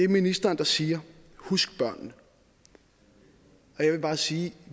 ministeren siger husk børnene jeg vil bare sige